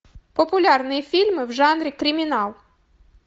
популярные фильмы в жанре криминал